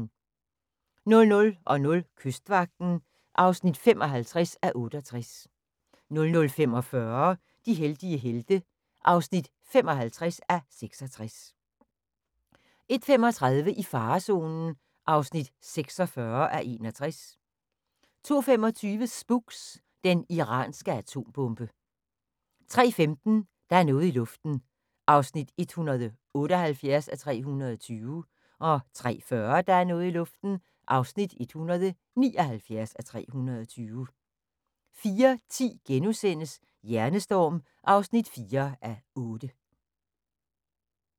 00:00: Kystvagten (55:68) 00:45: De heldige helte (55:66) 01:35: I farezonen (46:61) 02:25: Spooks: Den iranske atombombe 03:15: Der er noget i luften (178:320) 03:40: Der er noget i luften (179:320) 04:10: Hjernestorm (4:8)*